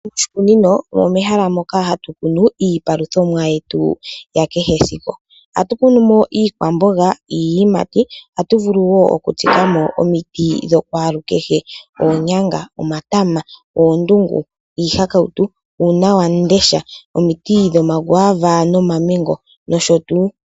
Moshikunino omo mehala moka hatu kunu iipaluthomwa yetu yakehe esiku ohatu kunumo iikwamboga, iiyimati ohatu vuluwo okuku tsikamo oomiti dho kwalu kehe oonyanga ,omatama, oondungu ,iihakautu, uunawamundesha, oomiti dhoma kwava no mamengo nosho tuu.